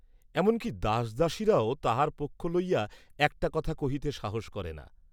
এমন কি দাসদাসীরাও তাহার পক্ষ লইয়া একটা কথা কহিতে সাহস করে না।